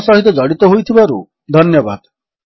ଆମସହିତ ଜଡିତ ହୋଇଥିବାରୁ ଧନ୍ୟବାଦ